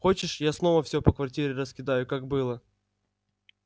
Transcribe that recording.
хочешь я снова всё по квартире раскидаю как было